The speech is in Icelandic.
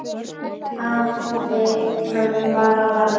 Hafði hann bara farið heim?